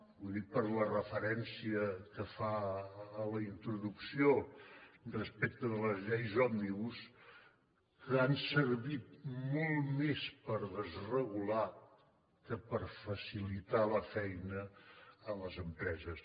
ho dic per la referència que fa a la introducció respecte de les lleis òmnibus que han servit molt més per desregular que per facilitar la feina a les empreses